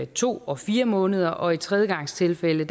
to og fire måneder og i tredjegangstilfælde